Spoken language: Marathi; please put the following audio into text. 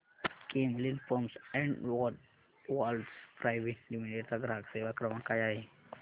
Camlin pumps and valves private limited चा ग्राहक सेवा क्रमांक काय आहे